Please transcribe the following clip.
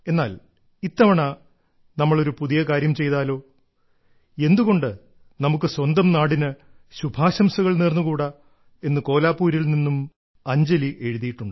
എന്നാൽ ഇത്തവണ നമ്മൾ ഒരു പുതിയ കാര്യം ചെയ്താലോ എന്തുകൊണ്ട് നമുക്ക് സ്വന്തം നാടിന് ശുഭാശംസകൾ നേർന്നുകൂടാ എന്ന് കോലാപൂരിൽ നിന്നും അഞ്ജലി എഴുതി